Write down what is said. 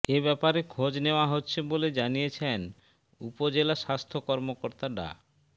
এ ব্যাপারে খোঁজ নেয়া হচ্ছে বলে জানিয়েছেন উপজেলা স্বাস্থ্য কর্মকর্তা ডা